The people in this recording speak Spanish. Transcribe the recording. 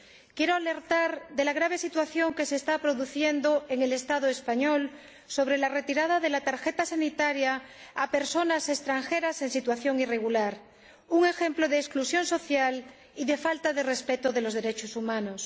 Quiero alertar de la grave situación que se está produciendo en el Estado español debido a la retirada de la tarjeta sanitaria a personas extranjeras en situación irregular, un ejemplo de exclusión social y de falta de respeto de los derechos humanos.